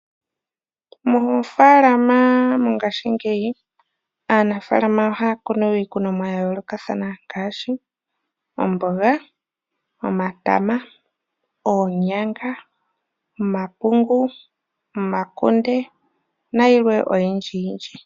Moofalama mongaashingeyi aanafalama ohaya kunu iikunomwa ya yoolokathana ngaashi omboga, omatama, oonyanga, omapungu, omakunde nayilwe oyindji yindji.